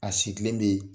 A sigilen bɛ yen